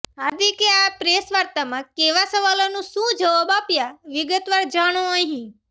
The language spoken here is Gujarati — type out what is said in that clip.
હાર્દિકે આ પ્રેસવાર્તામાં કેવા સવાલોના શું જવાબ આપ્યા વિગતવાર જાણો અહીં